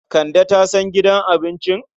Kande ta san gidan abincin?